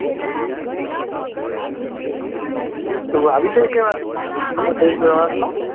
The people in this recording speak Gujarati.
તુ આવી છે એકેય વાર અમાર ગુજરાત મા